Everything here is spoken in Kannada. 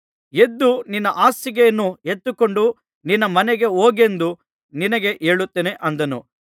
ಎದ್ದು ನಿನ್ನ ಹಾಸಿಗೆಯನ್ನು ಎತ್ತಿಕೊಂಡು ನಿನ್ನ ಮನೆಗೆ ಹೋಗೆಂದು ನಿನಗೆ ಹೇಳುತ್ತೇನೆ ಅಂದನು